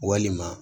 Walima